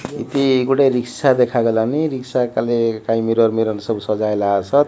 ଏଇଠି ଗୋଟେ ରିକ୍ସା ଦେଖା ଗଲାନି ରିକ୍ସା କାଲେ କାଈ ମିରର ମିରର ସବୁ ସଜାଇଲାରସନ୍।